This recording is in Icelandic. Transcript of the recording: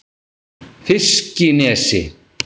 Fiskinesi